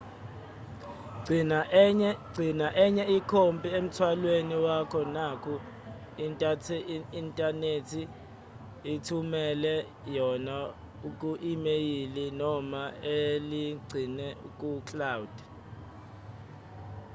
gcina enye ikhophi emthwalweni wakho naku-inthanethi zithumelele yona ku-imeyili noma uligcinwe ku-"cloud"